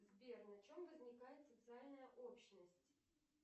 сбер на чем возникает социальная общность